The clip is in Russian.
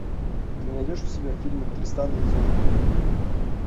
ты найдешь у себя фильмик тристан и изольда